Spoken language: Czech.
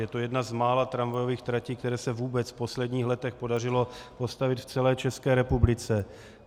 Je to jedna z mála tramvajových tratí, které se vůbec v posledních letech podařilo postavit v celé České republice.